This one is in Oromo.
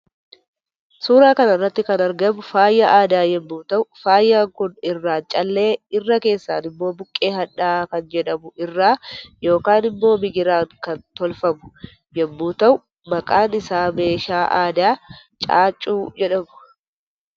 Suuraa kanarratti kan argamu faaya aadaa yommuu ta'u faayaan Kun irraan callee irra keessan immo buqqee hadhaahaa kan jedhamu irraa yookan immoo migiraan ka tolfamu yommuu ta'u maqaan isa meeshaa aadaa caaccuu jedhama.